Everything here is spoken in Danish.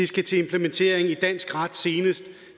skal til implementering i dansk ret senest